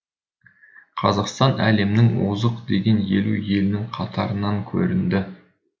қазақстан әлемнің озық деген елу елінің қатарынан көрінді